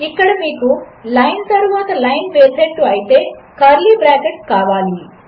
ఇక్కడమీరులైన్తరువాతలైన్వేసేట్టుఅయితే మీకుకర్లీబ్రాకెట్లుకావాలి